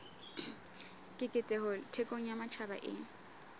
keketseho thekong ya matjhaba e